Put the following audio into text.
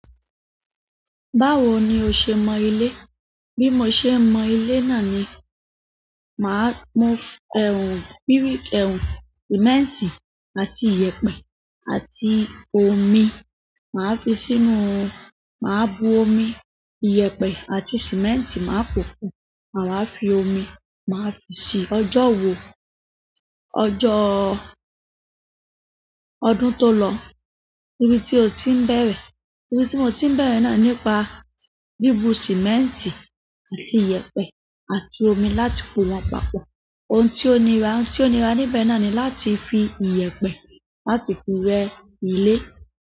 Báwo ni o ṣe mọ ilé? Bí mo ṣe mọ ilé náà ni, màá mú, bíríkì, sìmẹ́ǹtì àti iyẹ̀pẹ̀ àti omi. Màá fi sínú, màá bu omi, iyẹ̀pẹ̀ àti sìmẹ́ǹtì, màá pòòpọ̀, màá fi omi, màá fi ṣí. Ọjọ́ wo, ọjọ́ ọdún tó lọ. Ibi tí o ti ń bẹ̀rẹ̀, ibi tí mo ti ń bẹ̀rẹ̀ náà nípa bíbu sìmẹ́ǹtì àti iyẹ̀pẹ̀ àti omi láti fún wọn papọ̀. Ohun tí ó nira, ohun tí ó nira níbẹ̀ náà ni láti fi iyẹ̀pẹ̀ láti fi rẹ́ ilé.